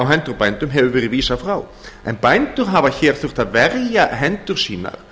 á hendur bændum hefur verið vísað frá en bændur hafa hér þurft að verja hendur sínar